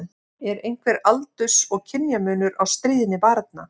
Er einhver aldurs- og kynjamunur á stríðni barna?